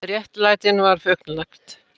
Réttlætinu var fullnægt